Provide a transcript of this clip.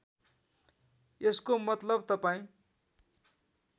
यसको मतलब तपाईँ